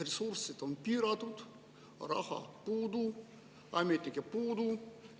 Ressursid on piiratud, raha on puudu, ametnikke on puudu.